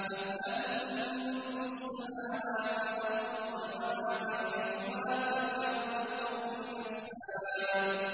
أَمْ لَهُم مُّلْكُ السَّمَاوَاتِ وَالْأَرْضِ وَمَا بَيْنَهُمَا ۖ فَلْيَرْتَقُوا فِي الْأَسْبَابِ